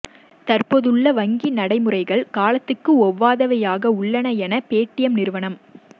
தற்போதுள்ள வங்கி நடைமுறைகள் காலத்துக்கு ஒவ்வாதவையாக உள்ளன என்று பேடிஎம் நிறுவனர்